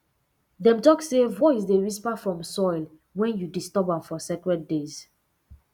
dem talk say voice dey whisper from soil when you disturb am for sacred days